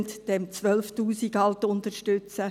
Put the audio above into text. Unterstützen Sie halt diese 12’000 Franken.